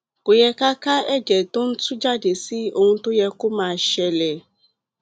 kò yẹ ká ka ẹjẹ tó ń tuú jáde sí ohun tó yẹ kó máa ṣẹlẹ